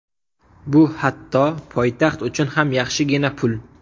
Bu hatto poytaxt uchun ham yaxshigina pul.